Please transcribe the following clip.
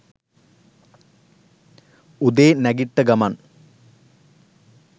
උදේ නැගිට්ට ගමන්